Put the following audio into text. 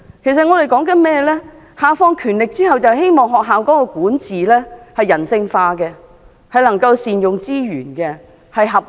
教育局下放權力後，我們希望學校的管治人性化，能夠善用資源和處事合理。